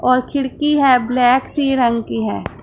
और खिडकी है ब्लैक सी रंग की है।